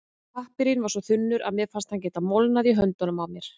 Pappírinn var svo þunnur að mér fannst hann geta molnað í höndunum á mér.